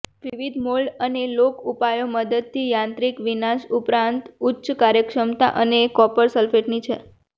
વિવિધ મોલ્ડ અને લોક ઉપાયો મદદથી યાંત્રિક વિનાશ ઉપરાંત ઉચ્ચ કાર્યક્ષમતા અને કોપર સલ્ફેટની છે